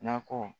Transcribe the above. Nakɔ